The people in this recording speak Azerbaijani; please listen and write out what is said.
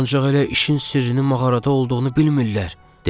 Ancaq elə işin sirrini mağarada olduğunu bilmirlər, dedi.